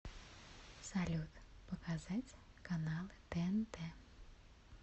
салют показать каналы тнт